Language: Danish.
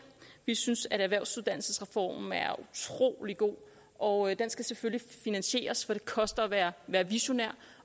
vi synes at erhvervsuddannelsesreformen er utrolig god og den skal selvfølgelig finansieres for det koster at være være visionær